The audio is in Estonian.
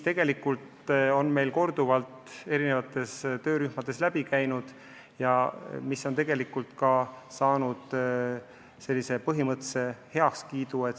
Seda on meil korduvalt erinevates töörühmades arutatud ja see on saanud põhimõttelise heakskiidu.